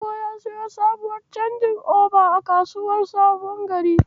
Dogo ya siyo sabuwar canji'oba a kasuwar Sabon Gari.